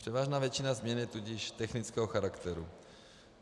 Převážná většina změn je tudíž technického charakteru.